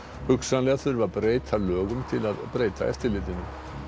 hugsanlega þurfi að breyta lögum til að breyta eftirlitinu